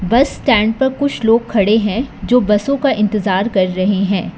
बस स्टैंड पर कुछ लोग खड़े हैं जो बसों का इंतजार कर रहे हैं।